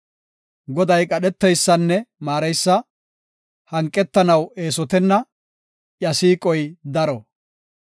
Goday qadheteysanne maareysa; hanqetanaw eesotenna; iya siiqoy daro.